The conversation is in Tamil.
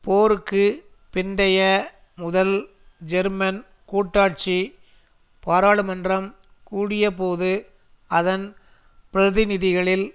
போருக்கு பிந்தைய முதல் ஜெர்மன் கூட்டாட்சி பாராளுமன்றம் கூடியபோது அதன் பிரதிநிதிகளில்